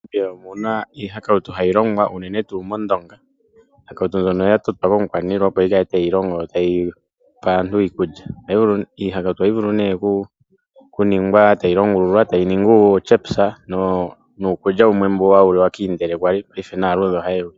MoNamibia omuna iihakautu hayi longwa uunene tuu moNdonga. Iihakautu mbyono oÿa totwa komukwaniillwa opo yikale tayi pe aantu iikulya. Iihakautu ohayi vulu nee oku longululwa, tayi ningi uu chips, niikulya yimwe yali hayi liwa kiindele, paife naa ludhe ohayi yili.